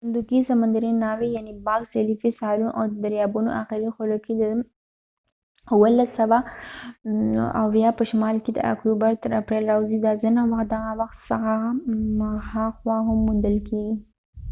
صندوقي سمندرې ناوې یعني باکس جېلي فش ساحلونو او د دریابونو اخري خولو کې د 1770 په شمال کې له اکتوبر تر اپرېل راوځي دا ځنه وخت دغه وخت څخه هاخوا هم موندل کیږي